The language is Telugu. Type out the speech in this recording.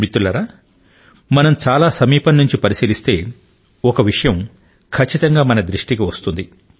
మిత్రులారా మనం చాలా సమీపం నుండి పరిశీలిస్తే ఒక విషయం ఖచ్చితంగా మన దృష్టికి వస్తుంది